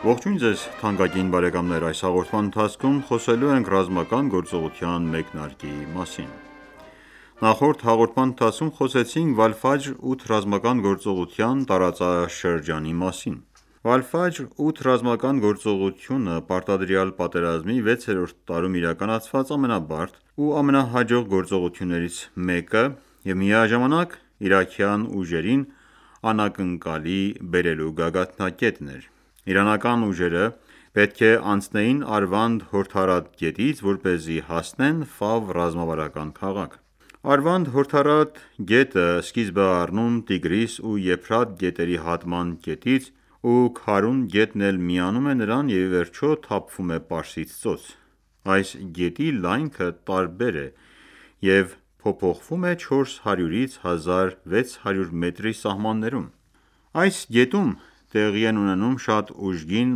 Ողջույն ձեզ թանկագին բարեկամներ: Այս հաղորդման ընթացքում խոսելու ենք ռազմական գործողության մեկնարկի մասին: Նախորդ հաղորդման ընթացքում խոսեցինք Վալֆաջր 8 ռազմական գործողության տարածաշրջանի մասին: Վալֆաջր 8 ռազմական գործողությունը պարտադրյալ պատրեազմի 6-րդ տարում իրականացված ամենաբարդ ու ամենահաջող գործողություններից մեկը և միաժամանակ իրաքյան ուժերին անակնկալի բերելու գագաթնակետն էր: Իրանական ուժերը պետք է անցնեին Արվանդ հորդառատ գետից, որպեսզի հասնեն Ֆավ ռազմավարական քաղաք: Արվանդ հորդառատ գետը սկիզբ է առնում Տիգրիս ու Եփրատ գետերի հատման կետից ու Քարուն գետն էլ միանում է նրան և իվերջո թափվում է Պարսից Ծոց: Այս գետի լայնքը տարբեր է և փոփոխվում է 400-ից 1600 մետրի սահմաններում: Այս գետում տեղի են ունենում շատ ուժգին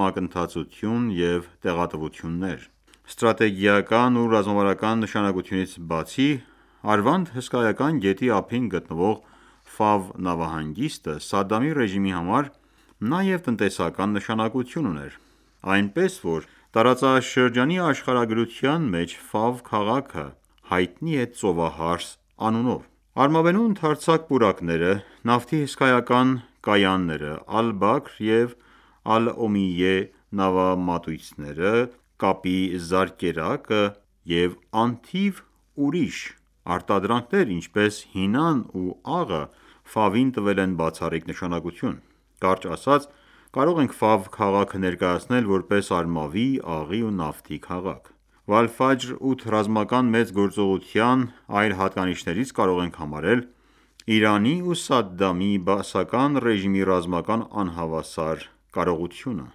մակընթացություն և տեղատվություններ: Ստրատեգիական ու ռազմական նշանակությունից բացի Արվանդ հսկայական գետի ափին գտնվող Ֆավ նավահանգիստը Սադդամի ռեժիմի համար նաև տնտեսական նշանակություն ուներ: Այնպես որ տարածաշրջանի աշխարհագրության մեջ Ֆավ քաղաքը հայտնի է «Ծովահարս» անունով: Արմավենու ընդարձակ պուրակները, նավթի հսկայական կայանները, Ալ-Բաքր և Ալ-Օմիյե նավամատույցները կապի զարկերակը և անթիվ ուրիշ արտադրանքները ինչպես հինան ու աղը տվել են բացառիկ նշանակություն: Կարճ ասած կարող ենք Ֆավ քաղաքը ներկայացնել, որպես արմավի, աղի ու նավթի քաղաք: Վալֆաջր 8 ռազմական մեծ գործողության այլ հատկանիշներից կարող ենք համարել Իրանի ու Սադդամի բաասական ռեժիմի ռազմական անհավասար կարողությունը: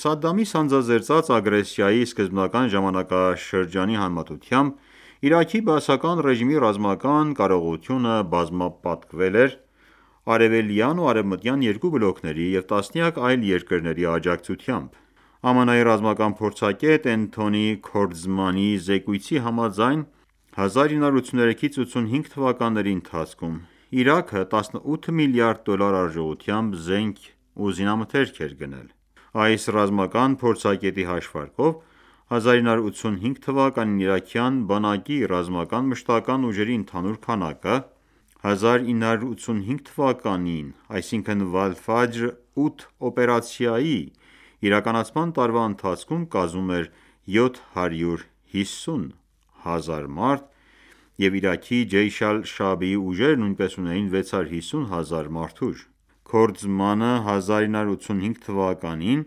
Սադդամի սանձազերծած ագրեսիայի սկզբնական ժամանակաշրջանի համեմատությամբ Իրաքի բաասական ռեժիմի ռազմական կարողությունը բազմապատկվել էր՝ արևելյան ու արևմտյան երկու բլոկների և տասնյակ այլ երկրների աջակցությամբ: ԱՄՆ-ի ռազմական փորձագետ Էնթոնի Քորդզմանի զեկույցի համաձայն 1983-1985թթ. ընթացքում Իրաքը 18 մլրդ. դոլար արժողությամբ զենք է ու զինամթերք էր գնել: Այս ռազմական փորձագետի հաշվարկով 1985թ. իրաքյան բանակի ռազմական մշտական ուժերի ընդհանուր քանակը 1985թ. այսինքն Վալֆաջր 8 օպերացիայի իրականացման տարվա ընթացքում կազմում էր 750 հազար մարդ և Իրաքի Ջեյշ Ալ-Շաաբիի ուժերը նույնպես ունեին 650 հազար մարդուժ: Քորդզմանը 1985թ.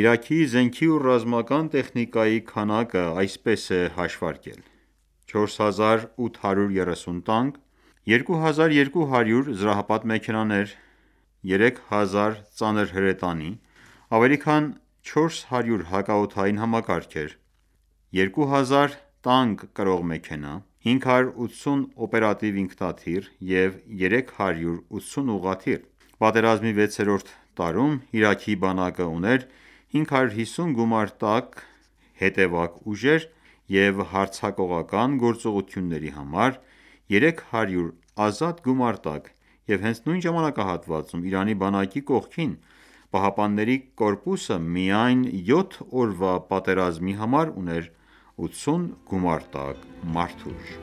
Իրաքի զենքի ու ռազմական տեխնիկայի քանակը այսպես է հաշվարկել: 4830 տանկ, 3200 զրահապատ մեքենաներ, 3000 ծանր հրետանի, ավելի քան 400 հակաօդային համակարգեր, 2000 տանկ կրող մեքենա, 580 օպերատիվ ինքնաթիռ և 380 ուղղաթիռ: Պատերազմի 6-րդ տարում Իրաքի բանակը ուներ 550 գումարտակ հետևակ ուժեր և հարձակողական գործողությունների համար 300 ազատ գումարտակ և հենց նույն ժամանակահատվածում Իրանի բանակի կողքին ԻՀՊԿ-ն միայն 7 օրվա պատերազմի համար ուներ 80 գումարտակ մարդուժ: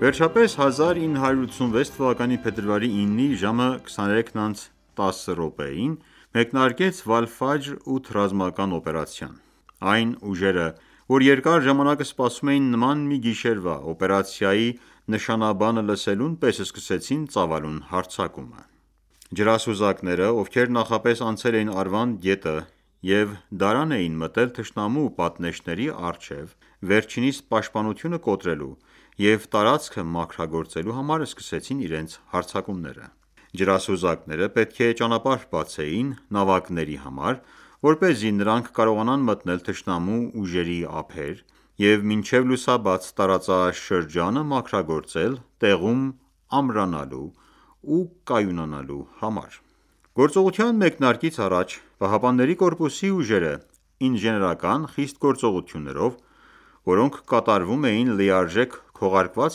Վերջապես 1986թ. փետրվարի 9-ի ժամը 23:10-ին մեկնարկեց Վալֆաջր 8 ռազմական օպերացիան: Այն ուժերը, որ երկար ժամանակ սպասում էին նման մի գիշերվա, օպերացիայի նշանաբանը լսելուն պես սկսեցին ծավալուն հարձակումը: Ջրասուզակները, ովքեր նախապես անցել էին Արվանդ գետը և դարան էի մտել թշնամու պատնեշների առջև վերջինիս պաշտպանությունը կոտրելու և տարածքը մաքրագործելու համար սկսեցին իրենց հարձակումները: Ջրասուզակները պետք է ճանապարհ բացեին նավակների համար որպեսզի նրանք կարողանան մտնել թշնամու ուժերի ափեր և մինչև լուսաբաց տարածաշրջանը մաքրագործել տեղում ամրանալու ու կայունանալու համար: Գործողության մեկնարկից առաջ ԻՀՊԿ-ի ուժերը ինժեներական խիստ գործողություններով, որոնք կատարվում էին լիարժեք քողարկված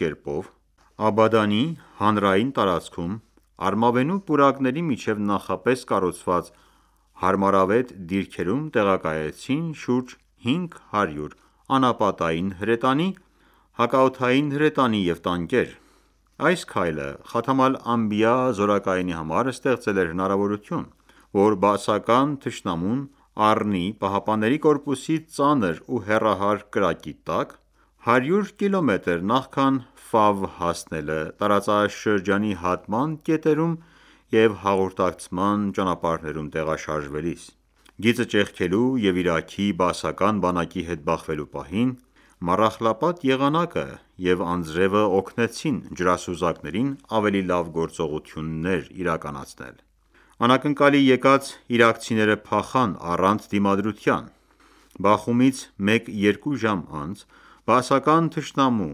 կերպով, Աբադանի հանրային տարածքում արմավենու պուրակների միջև նախապես կառուցված հարմարավետ դիրքերում տեղակայեցին շուրջ 500 անապատային հրետանի, հակաօդային հրետանի և տանկեր: Այս քայլը Խաթամ Ալ-Անբիա զորակայանի համար ստեղծել էր հնարավորություն, որ բաասական թշնամուն առնի ԻՀՊԿ-ի ծանր ու հեռահար կրակի տակ՝ 100 կմ. նախքան հասնելը՝ տարածաշրջանի հատման կետերում և հաղորդակցման ճանապարհներում տեղաշարժվելիս: Գիծը ճեղքելու և Իրաքի բաասական բանակի հետ բախվելու պահին, մառախլապատ եղանակը և անձրևը օգնեցին ջրասուզակներին ավելի լավ գործողություններ իրականացնել: Անակնկալի եկած իրաքցիները փախան առանց դիմադրության։ Բախումից մեկ, երկու ժամ անց բաասական թշնամու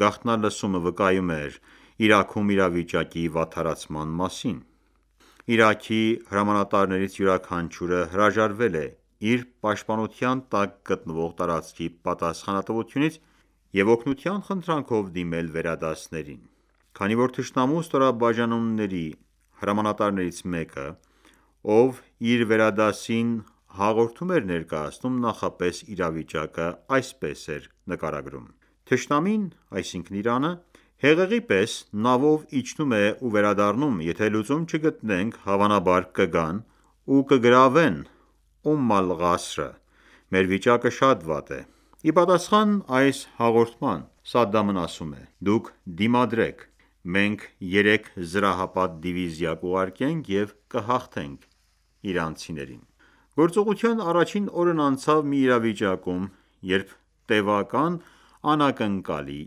գաղտնալսումն վկայում էր Իրաքում իրավիճակի վատթարացման մասին: Իրաքի հրամանատարներից յուրաքանչյուրը հրաժարվել է իր պաշտպանության տակ գտնվող տարածքի պատասխանատվությունից և օգնության խնդրանքով դիմել վերադասներին։ Քանի որ թշնամու ստորաբաժանումների հրամանատարներից մեկը, ով իր վերադասին հաղորդում էր ներկայացնում նախնական իրավիճակը այսպես էր նկարագրում.«Թշնամին (Իրանը) հեղեղի պես նավով իջնում ​​է ու վերադառնում, եթե լուծում չգտնենք, հավանաբար կգան ու կգրավեն Ում Ալ-Ղասրը, մեր վիճակը շատ վատ է»։ Ի պատասխան այս հաղորդման Սադամն ասում է.«Դուք դիմադրեք: Մենք երեք զրահապատ դիվիզիա կուղարկենք և կհաղթենք իրանցիներին»: Գործողության առաջին օրն անցավ մի իրավիճակում, երբ տեւական անակնկալի,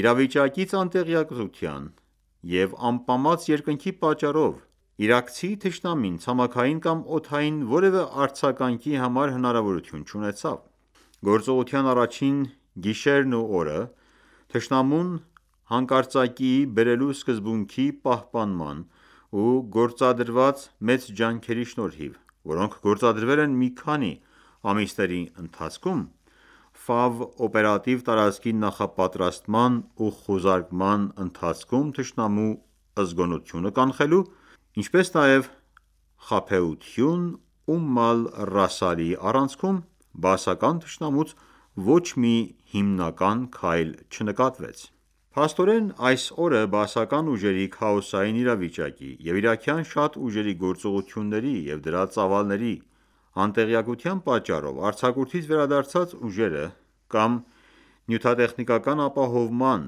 իրավիճակից անտեղյակության եւ ամպամած երկնքի պատճառով իրաքցի թշնամին ցամաքային կամ օդային որեւէ արձագանքի համար հնրարավորություն չունեցավ։ Գործողության առաջին գիշերն ու օրը, թշնամուն հանկարծակիի բերելու սկզբունքի պահպանման և գործադրված մեծ ջանքերի շնորհիվ, որոնք գործադրվել են մի քանի ամիսների ընթացքում Ֆավ օպերատիվ տարածքի նախապատրաստման և խուզարկման ընթացքում թշնամու զգոնությունը կանխելու, ինչպես նաև խաբեություն Ում Ալ-Ռասասի առանցքում... բաասական թշնամուց ոչ մի հիմնական քայլ չնկատվեց: Փաստորեն, այս օրը Բաասական ուժերի քաոսային իրավիճակի և իրաքյան շատ ուժերի գործողությունների և դրա ծավալների անտեղյակության պատճառով արձակուրդից վերադարձած ուժերը կամ նյութատեխնիկական ապահովման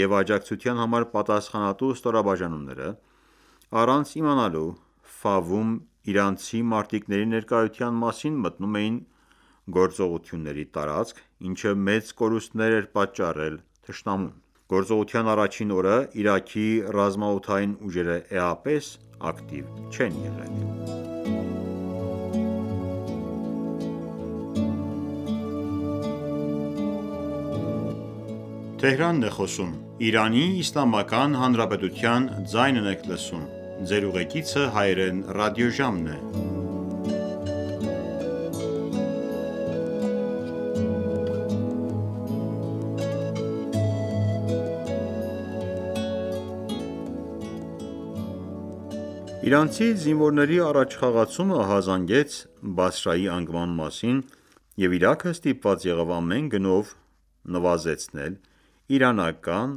և աջակցության համար պատասխանատու ստորաբաժանումները՝ առանց իմանալու, Ֆավում իրանցի մարտիկների ներկայության մասին մտնում էին գործողությունների տարածք, ինչը մեծ կորուստներ է պատճառել թշնամուն։ Գործողության առաջին օրը Իրաքի ռազմաօդային ուժերը էապես ակտիվ չեն եղել։ Իրանցի զինվորների առաջխաղացումն ահազանգեց Բասրայի անկման մասին, և Իրաքը ստիպված եղավ ամեն գնով նվազեցնել իրանական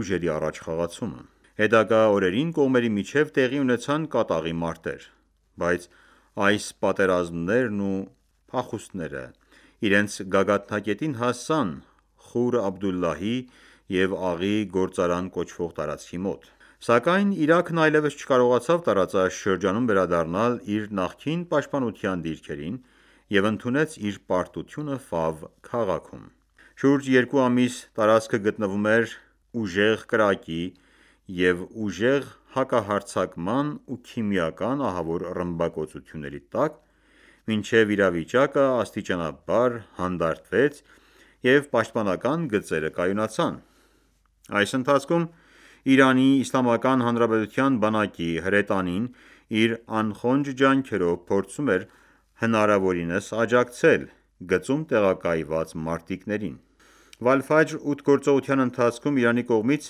ուժերի առաջխաղացումը։ Հետագա օրերին կողմերի միջև տեղի ունեցան կատաղի մարտեր: Բայց այս պատերազմներն ու փախուստները իրենց գագաթնակետին հասան Խուր Աբդուլլահի և «Աղի գործարան» կոչվող տարածքի մոտ։ Սակայն Իրաքն այլևս չկարողացավ տարածաշրջանում վերադառնալ իր նախկին պաշտպանության դիրքերին և ընդունեց իր պարտությունը Ֆավ քաղաքում: Շուրջ երկու ամիս տարածքը գտնվում էր ուժեղ կրակի և ուժեղ հակահարձակման ու քիմիական ահավոր ռմբակոծությունների տակ, մինչև իրավիճակը աստիճանաբար հանդարտվեց և պաշտպանական գծերը կայունացան։ Այս ընթացքում ԻԻՀ-ի բանակի հրետանին իր անխոնջ ջանքերով փորձում էր հնարավորինս աջակցել գծում տեղակայված մարտիկներին։ Վալֆաջր 8 գործողության ընթացքում Իրանի կողմից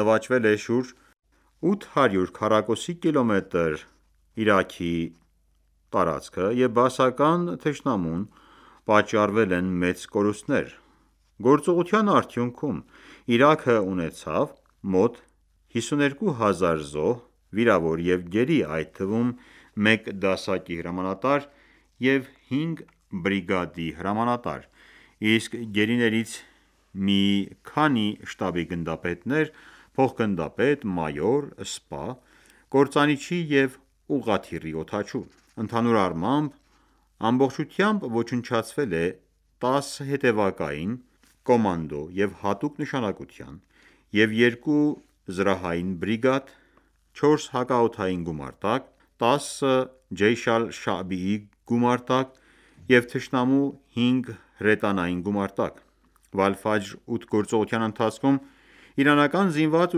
նվաճվել է շուրջ 800 քառակուսի կիլոմետր Իրաքի տարածք և բաասական թշնամուն պատճառվել են մեծ կորուստներ։ Գործողության արդյունքում Իրաքը ունեցավ մոտ 52000 զոհ, վիրավոր և գերի, այդ թվում՝ մեկ դասակի հրամանատար և հինգ բրիգադի հրամանատար, իսկ գերիներից՝ մի քանի շտաբի գնդապետներ, փոխգնդապետ, մայոր, սպա, կործանիչի և ուղղաթիռի օդաչու։ Ընդհանուր առմամբ ամբողջությամբ ոչնչացվել է 10 հետևակային, կոմանդո և հատուկ նշանակության և 2 զրահային բրիգադ, 4 հակաօդային գումարտակ, 10 «Ջեյշ Ալ-Շաաբի» գումարտակ և թշնամու 5 հրետանային գումարտակ։ «Վալֆաջր 8» գործողության ընթացքում իրանական զինված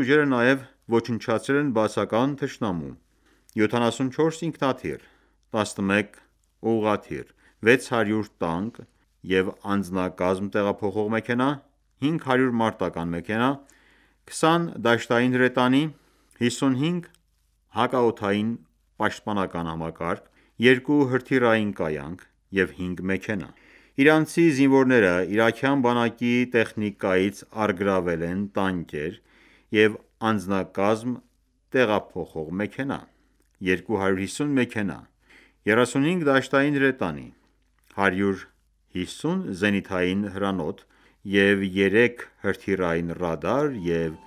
ուժերը նաև ոչնչացրել են բաասական թշնամու 74 ինքնաթիռ, 11 ուղղաթիռ,600 տանկ և անձնակազմ տեղափոխող մեքենա, 500 մարտական ​​մեքենա, 20 դաշտային հրետանի, 55 ՀՕՊ, 2 հրթիռային կայանք և 5 մեքենա: Իրանցի զինվորները իրաքյան բանակի տեխնիկայից առգրավել են տանկեր և անձնակազմ տեղափոխող մեքենա, 250 մեքենա, 35 դաշտային հրետանի, 150 զենիթային հրանոթ և 3 հրթիռային ռադար և